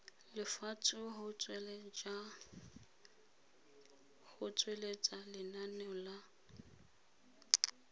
lefatshe go tsweletsa lenane la